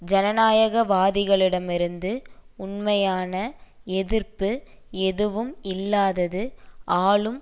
ஜனநாயகவாதிகளிடமிருந்து உண்மையான எதிர்ப்பு எதுவும் இல்லாதது ஆளும்